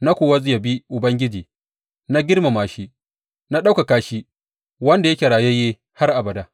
Na kuwa yabi Maɗaukaki, na girmama shi, na ɗaukaka shi wanda yake rayayye har abada.